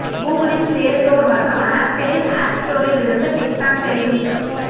கூகுளின் play store மற்றும் ஆப்பிளின் app ஸ்டோரில் இருந்து டிக் டாக் செயலி நீக்கம்